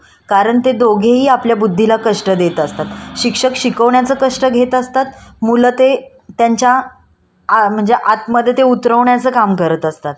आ म्हणजे आतमध्ये ते उतरवण्याचा करत असत. आणि दोघेही सोताचा बुद्धीला ताण देतात म्हणून ते बौद्धिक कष्ट झालंय कसला तरी विचार करणे याला पण आपण